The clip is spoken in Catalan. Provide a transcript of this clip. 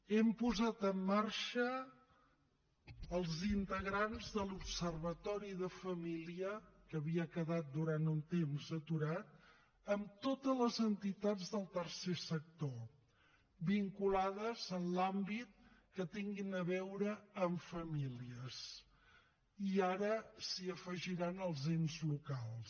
hem posat en marxa els integrants de l’observatori de la família que havia quedat durant un temps aturat amb totes les entitats del tercer sector vinculades a l’àmbit que tinguin a veure amb famílies i ara s’hi afegiran els ens locals